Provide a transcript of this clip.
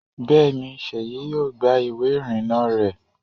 Bẹ́ẹ̀ni, Seyi yóò gba ìwé ìrìnnà rẹ̀